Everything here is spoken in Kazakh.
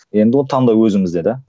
енді оны таңдау өзіңізде да